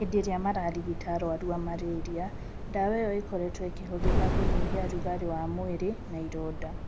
Hindi iria mararigita arũaru aa Malaria, dawa iyo ikorĩtwo ikĩhũthĩka kunyihia rugarĩĩ wa mwiri na iroda.